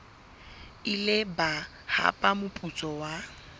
ile ba hapa moputso wa